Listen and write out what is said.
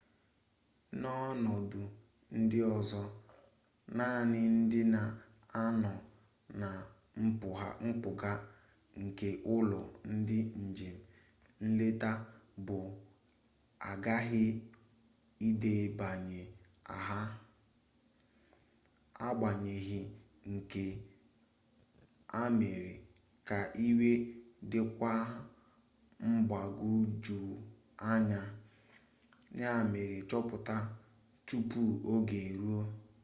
n'ọnọdụ ndị ọzọ naanị ndị na-anọ na mpụga nke ụlọ ndị njem nleta bụ aghaghị ịdebanye aha agbanyeghị nke a mere ka iwu dịkwuo mgbagwojuanya ya mere chọpụta tupu oge eruo